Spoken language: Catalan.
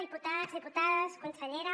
diputats diputades consellera